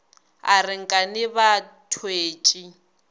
a re nkane ba thwetše